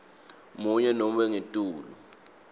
munye nobe ngetulu